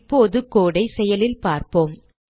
இப்போது code ஐ செயலில் பார்ப்போம்